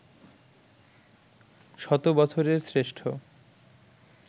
শত বছরের শ্রেষ্ঠ